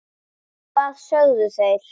Hvað sögðu þeir?